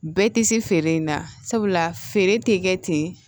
Bɛɛ tɛ se feere in na sabula feere tɛ kɛ ten